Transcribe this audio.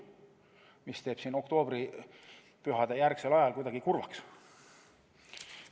See teeb siin oktoobripühadejärgsel ajal kuidagi kurvaks.